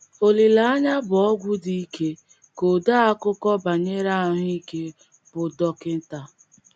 “ Olileanya bụ ọgwụ dị ike, ” ka odeakụkọ banyere ahụ́ ike, bụ́ Dr.